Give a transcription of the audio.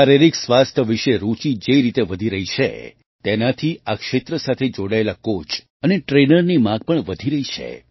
શારીરિક સ્વાસ્થ્ય વિશે રૂચિ જે રીતે વધી રહી છે તેનાથી આ ક્ષેત્ર સાથે જોડાયેલા કૉચ અને ટ્રેનરની માગ પણ વધી રહી છે